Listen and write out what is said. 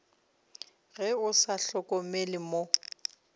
ge o sa hlokomele mo